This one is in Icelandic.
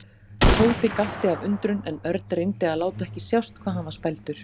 Tóti gapti af undrun en Örn reyndi að láta ekki sjást hvað hann var spældur.